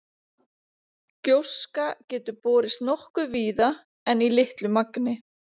Gjóska getur borist nokkuð víða en í litlu magni.